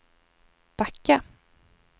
backa